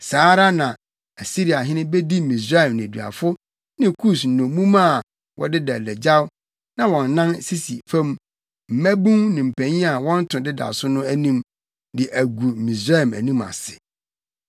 saa ara na Asiriahene bedi Misraim nneduafo ne Kus nnommum a wɔdeda adagyaw na wɔn nan sisi fam, mmabun ne mpanyin a wɔn to deda so no anim, de agu Misraim anim ase.